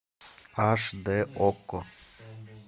аш дэ окко